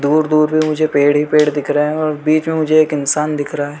दूर दूर में मुझे पेड़ ही पेड़ दिख रहे है और बीच में मुझे एक इंसान दिख रहा है।